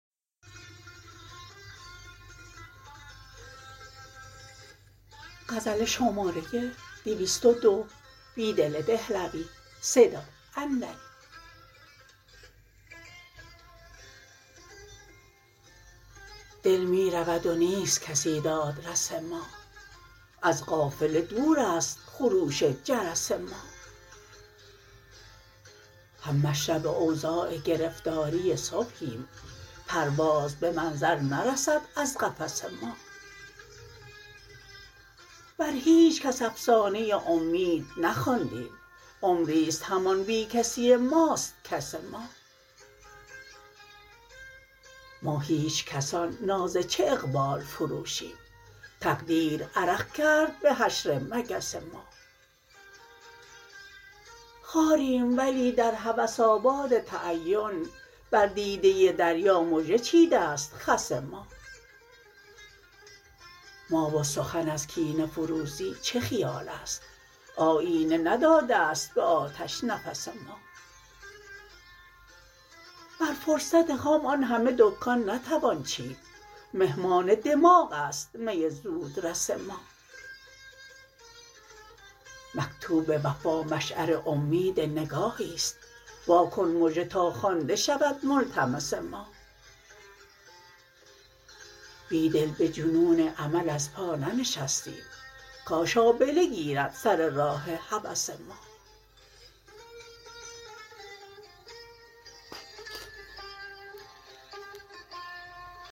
دل می رود و نیست کسی دادرس ما از قافله دور است خروش جرس ما هم مشرب اوضاع گرفتاری صبحیم پرواز به منظر نرسد از قفس ما بر هیچ کس افسانه امید نخواندیم عمری ست همان بیکسی ماست کس ما ما هیچکسان ناز چه اقبال فروشیم تقدیر عرق کرد به حشر مگس ما خاریم ولی در هوس آباد تعین بر دیده دریا مژه چیده ست خس ما ما و سخن ازکینه فروزی چه خیال است آیینه نداده ست به آتش نفس ما بر فرصت خام آن همه دکان نتوان چید مهمان دماغ است می زودرس ما مکتوب وفا مشعر امید نگاهی ست واکن مژه تا خوانده شود ملتمس ما بیدل به جنون امل ازپا ننشستیم کاش آبله گیرد سر راه هوس ما